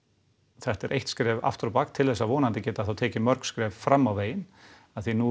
þetta er eitt skref aftur á bak til þess vonandi að geta þá tekið mörg skref fram á veginn af því að nú